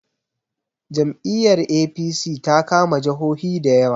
Jam'i yar A.p.c ta kama jahohi da yawa